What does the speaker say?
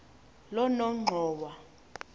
lonongxowa